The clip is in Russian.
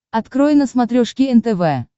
открой на смотрешке нтв